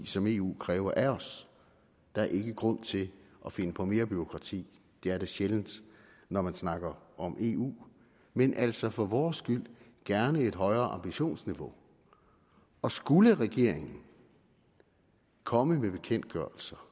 som eu kræver af os der er ikke grund til at finde på mere bureaukrati det er der sjældent når man snakker om eu men altså for vores skyld gerne et højere ambitionsniveau og skulle regeringen komme med bekendtgørelser